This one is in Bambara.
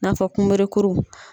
I n'a fɔ kunberekuru.